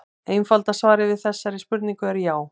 Einfalda svarið við þessari spurningu er já.